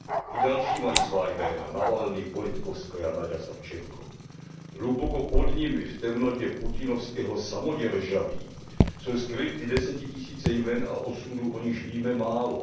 I další mají svá jména Navalnyj, Politkovská, Naďa Savčenková... Hluboko pod nimi v temnotě putinovského samoděržaví jsou skryty desetitisíce jmen a osudů, o nichž víme málo.